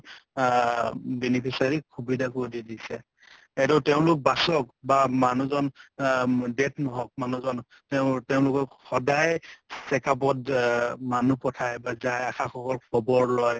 অ beneficiary সুবিধা কৰি দিছে । এইটো তেওঁলোক বাচক বা মানুহজন অ death নহওঁক মানুহজন, তেওঁৰ তেওঁলোকক সদায় check up ত অ মানুহ পঠায় বা যায় । আশা সকল খবৰ লয়।